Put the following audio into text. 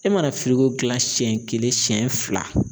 E mana kila siɲɛ kelen siɲɛ fila